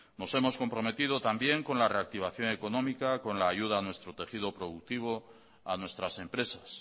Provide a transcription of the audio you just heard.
nos hemos comprometido también con la reactivación económica con la ayuda a nuestro tejido productivo a nuestras empresas